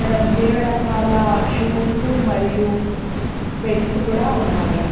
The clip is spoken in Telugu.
ఇక్కడ వివేవ రకాల సూజ్స్ లు మరియు బెల్స్ గూడా ఉన్నాయి.